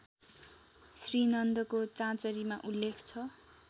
श्रीनन्दको चाँचरीमा उल्लेख छ